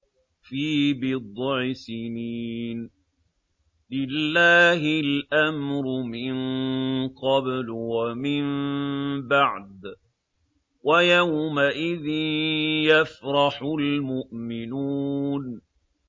فِي بِضْعِ سِنِينَ ۗ لِلَّهِ الْأَمْرُ مِن قَبْلُ وَمِن بَعْدُ ۚ وَيَوْمَئِذٍ يَفْرَحُ الْمُؤْمِنُونَ